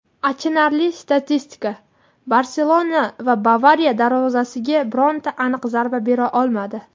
Achinarli statistika: "Barselona" "Bavariya" darvozasiga bironta aniq zarba bera olmadi;.